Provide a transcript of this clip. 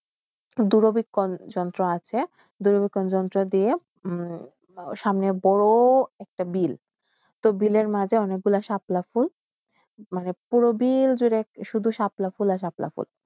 দূরবীক্ষণ যন্ত্র আসে দূরবীক্ষণ যন্ত্র দিয়ে সামনে বড় একটা বিল তো বিলের মাঝে অনেকগুল সাতলাখুন মনে পূরবীর তুড়ু সাপলাখুল সাপলাখুল